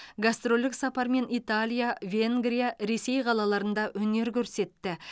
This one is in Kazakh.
гастрольдік сапармен италия венгрия ресей қалаларында өнер көрсетті